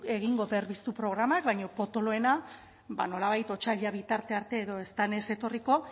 egingo berpiztu programak baina potoloena ba nolabait otsaila bitarte arte edo ez denez etorriko